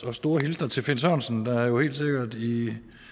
og store hilsner til finn sørensen der jo helt sikkert i